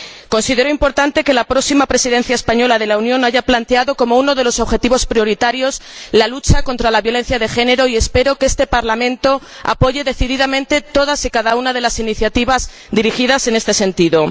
Considero importante que la próxima Presidencia española de la Unión haya planteado como uno de los objetivos prioritarios la lucha contra la violencia de género, y espero que este Parlamento apoye decididamente todas y cada una de las iniciativas dirigidas en este sentido.